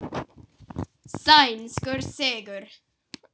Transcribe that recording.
Sænskur sigur.